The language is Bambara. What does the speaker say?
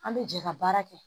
An bɛ jɛ ka baara kɛ